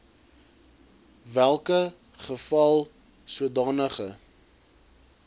welke geval sodanige